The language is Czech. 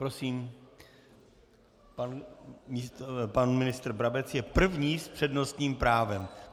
Prosím, pan ministr Brabec je první s přednostním právem.